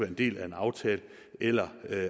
en del af en aftale eller